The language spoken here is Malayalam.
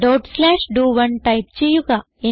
ഡോട്ട് സ്ലാഷ് ഡോ1 ടൈപ്പ് ചെയ്യുക